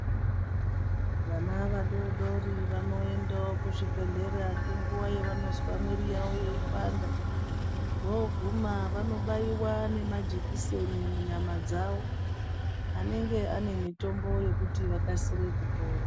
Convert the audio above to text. Vana vadodori vanoendawo kuzvibhedhlera ngenguwa yavanozwa mwiri yawo yeipanda voguma vanobaiwa nemajekiseni munyama dzavo anenge ane mitombo yekuti vakasire kupona.